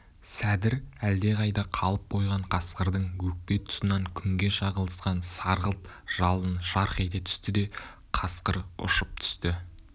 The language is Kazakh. сәдір әлдеқайда қалып қойған қасқырдың өкпе тұсынан күнге шағылысқан сарғылт жалын жарқ ете түсті де қасқыр ұшып түсті